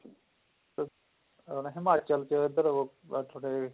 ਅਹ ਹਿਮਾਚਲ ਚ ਏਧਰ ਹੋ ਗਏ